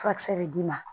Furakisɛ bɛ d'i ma